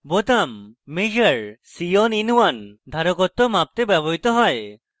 measure c on in1 বোতাম ধারকত্ব মাপতে ব্যবহৃত হয়